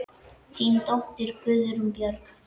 Þín dóttir, Guðrún Björg.